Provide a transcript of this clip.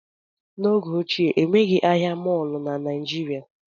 N'oge ochie, enweghị ahịa mọọlụ na Naijiria